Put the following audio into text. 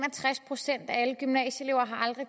og tres procent af alle gymnasieelever har aldrig